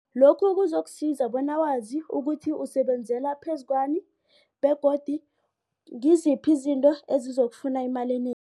Lokhu kuzokusiza bona wazi ukuthi usebenzela phezu kwani begodu ngiziphi izinto esizokufuna imali